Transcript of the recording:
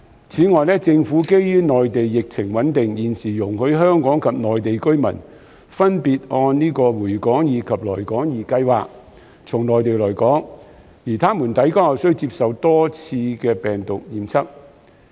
此外，政府基於內地疫情穩定，現時容許香港及內地居民分別按"回港易"及"來港易"計劃從內地來港，而他們抵港後須接受多次病毒檢測。